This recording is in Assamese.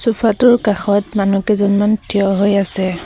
চুফাটোৰ কাষত মনুহকেইজনমান থিয় হৈ আছে।